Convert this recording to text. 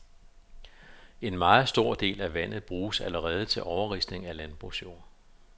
En meget stor del af vandet bruges allerede til overrisling af landbrugsjord.